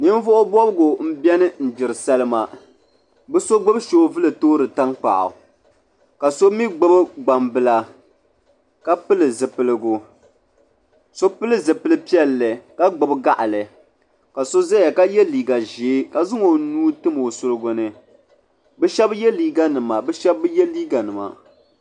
Ninvuɣu bɔbigu n beni n gbiri salima bɛ so gbubi soobuli n toori tan kpaɣu ka somi gbubi gban bila. ka pili zupiligu. so pili zipili piɛli. ka gbubi gaɣili ka so ʒaya ka ye bɛ liiga ʒɛɛ kazaŋ ɔnuu n tim ɔ surigu ni bɛshabi liiga nima bɛ shabi bi ye liiga nima.